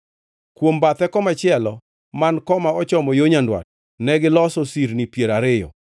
Kuom bathe komachielo man koma ochomo yo nyandwat, negiloso sirni piero ariyo,